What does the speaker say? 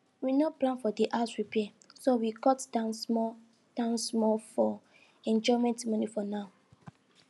we no plan for the house repair so we cut down small down small for enjoyment money for now